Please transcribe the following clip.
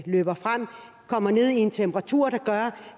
løber frem kommer ned i en temperatur der gør